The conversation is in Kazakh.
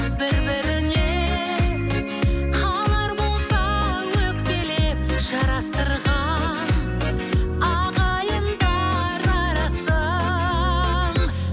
бір біріне қалар болса өкпелеп жарастырған ағайындар арасын